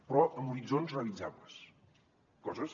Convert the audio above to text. però amb horitzons realitzables coses